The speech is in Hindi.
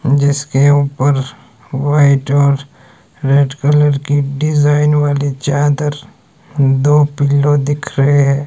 जिसके ऊपर व्हाइट और रेड कलर की डिजाइन वाली चादर दो पिलो दिख रहे हैं।